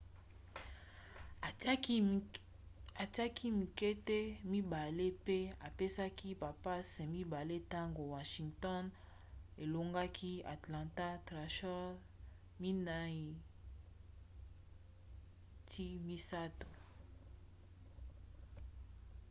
atiaki mingete 2 mpe apesaki bapasse 2 ntango washington elongaki atlanta thrashers 5-3